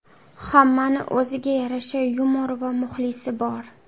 Hammani o‘ziga yarasha yumori va muxlisi bor.